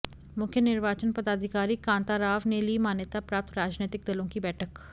मुख्य निर्वाचन पदाधिकारी कांताराव ने ली मान्यता प्राप्त राजनैतिक दलों की बैठक